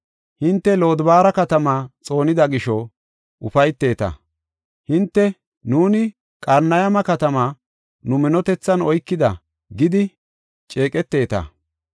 Hinte Lodobaara katama xoonida gisho ufayteta; hinte, “Nuuni Qarnayma katamaa nu minotethan oykida” gidi ceeqeteta.